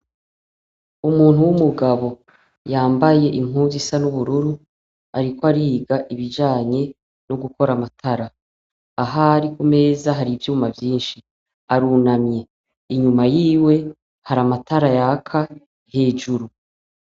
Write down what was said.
Umuntu w'umugabo yambaye impuzu isa n'ubururu, ariko ariga ibijanye no gukora amatara, ahari ku meza hari ivyuma vyinshi, arunamye, inyuma yiwe hari amatara yaka hejuru.